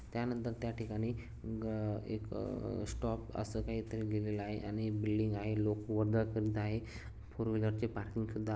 त्यानंतर त्या ठिकाणी ग एक अं स्टॉप असं काही तरी लेहिलेलं आहे आणि बिल्डिंग आहे लोक वरधळ करित आहे. फोर व्हीलर ची पार्किंग सुद्धा--